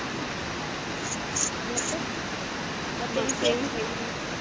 ಮತ್ತೆ ಮತ್ತೆ.